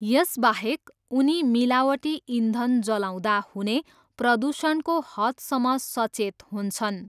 यसबाहेक, उनी मिलावटी इन्धन जलाउँदा हुने प्रदूषणको हदसम्म सचेत हुन्छन्।